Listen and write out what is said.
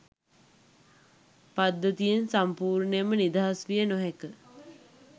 පද්ධතියෙන් සම්පූර්ණයෙන්ම නිදහස් විය නොහැක